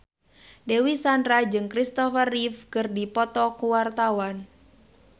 Dewi Sandra jeung Christopher Reeve keur dipoto ku wartawan